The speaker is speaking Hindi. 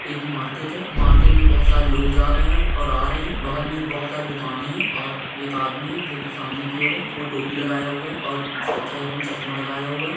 एक मार्केट है मार्केट मे बहुत सारे लोग जा रहे है और आ रहे है बगल मे बहुत सारे दुकाने है और एक आदमी है जो की सामने की और है वो टोपी लगाया हुआ है और चहरे मे चश्मा लगाया हुआ है।